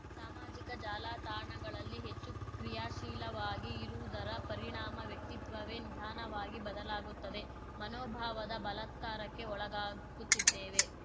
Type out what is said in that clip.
ಸಾಮಾಜಿಕ ಜಾಲತಾಣಗಳಲ್ಲಿ ಹೆಚ್ಚು ಕ್ರಿಯಾಶೀಲವಾಗಿ ಇರುವುದರ ಪರಿಣಾಮ ವ್ಯಕ್ತಿತ್ವವೇ ನಿಧಾನವಾಗಿ ಬದಲಾಗುತ್ತದೆ ಮನೋಭಾವದ ಬಲತ್ಕಾರಕ್ಕೆ ಒಳಗಾಗುತ್ತಿದ್ದೇವೆ